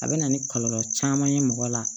A bɛ na ni kɔlɔlɔ caman ye mɔgɔ la